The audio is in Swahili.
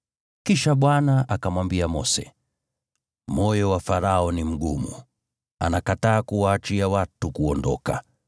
Kisha Bwana akamwambia Mose, “Moyo wa Farao ni mgumu, anakataa kuwaachia watu kuondoka.